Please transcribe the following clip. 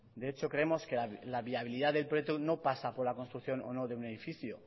de hecho creemos que la viabilidad del proyecto no pasa por la construcción o no de un edificio